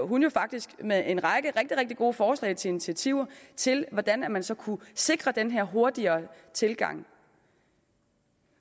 hun jo faktisk med en række rigtig rigtig gode forslag til initiativer til hvordan man man så kunne sikre den her hurtige tilgang